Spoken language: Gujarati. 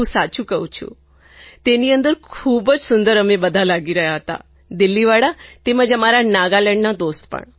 હું સાચું કહું છું તેની અંદર ખૂબ જ સુંદર અમે બધાં લાગી રહ્યાં હતાં દિલ્લીવાળા તેમજ અમારા નાગાલેન્ડના દોસ્ત પણ